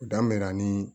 Dan bɛ na ni